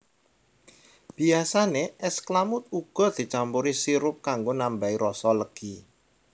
Biyasane es klamud uga dicampuri sirup kanggo nambahai rasa legi